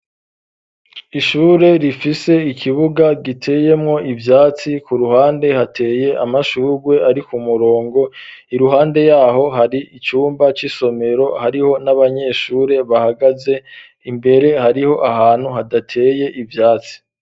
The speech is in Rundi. Ishure rifise ikibuga giteyemwo ivyatsi, ku ruhande hateye amashugwe ari ku murongo, iruhande yaho hari icumba c'isomero, hariho n'abanyeshure bahagaze, imbere hariho ahantu hadateye ivyatsi.